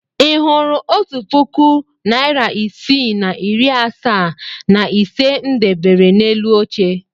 Ị hụrụ otu puku naịra isii na iri asaa na ise m debere n'elu oche?